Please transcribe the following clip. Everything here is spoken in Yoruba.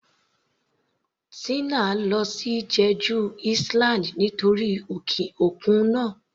Tina lọ sí Jeju island nítorí òkun náà.